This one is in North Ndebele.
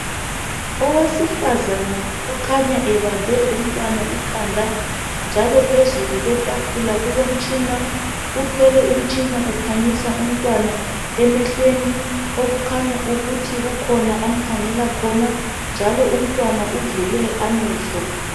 Owesifazane okhanya ebambe umntwana ikhanda njalo phezulu kwetafula kukhona umtshina. Uthwele umtshina ukhanyisa umntwana emehlweni okukhanya ukuthi kukhona amkhangela khona njalo umntwana uvule amehlo.